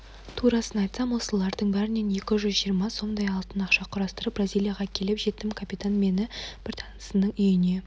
турасын айтсам осылардың бәрінен екі жүз жиырма сомдай алтын ақша құрастырып бразилияға келіп жеттім капитан мені бір танысының үйіне